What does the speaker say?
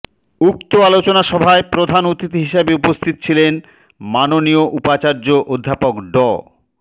উক্ত অলোচনা সভায় প্রধান অতিথি হিসেবে উপস্থিত ছিলেন মাননীয় উপাচার্য অধ্যাপক ড